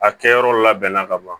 A kɛyɔrɔ labɛnna ka ban